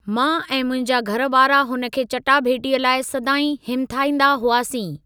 मां ऐं मुंहिंजा घर वारा हुन खे चटाभेटीअ लाइ सदाईं हिमथाईंदा हुआसीं।